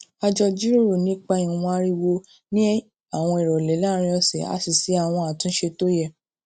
a jọ jíròrò nipa ìwọn ariwo ní àwọn ìròlé láàárín òsè a sì ṣe àwọn àtúnṣe tó yẹ